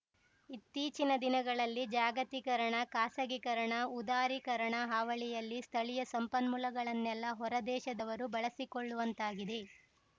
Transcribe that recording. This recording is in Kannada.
ಇತ್ತೀಚಿನ ದಿನಗಳಲ್ಲಿ ಜಾಗತೀಕರಣ ಖಾಸಗೀಕರಣ ಉದಾರೀಕರಣ ಹಾವಳಿಯಲ್ಲಿ ಸ್ಥಳೀಯ ಸಂಪನ್ಮೂಲಗಳನ್ನೆಲ್ಲಾ ಹೊರದೇಶದವರು ಬಳಸಿಕೊಳ್ಳುವಂತಾಗಿದೆ